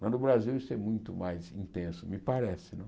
Mas no Brasil isso é muito mais intenso, me parece né.